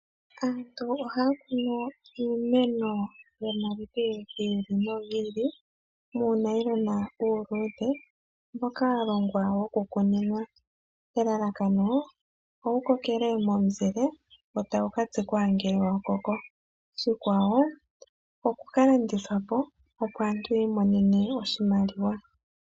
Aantu ohaya kunu iimeno yomaludhi gi ili nogi ili muunayilona uuluudhe mboka wa longwa wokukuninwa , elalakano owu kokele momuzile e tawu ka tsikwa ngele wa koko. Oshikwawo oku ka landithwa po, opo aantu yi imonene mo oshimaliwa.